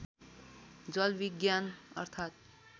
जल विज्ञान अर्थात्